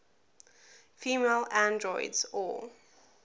female androids or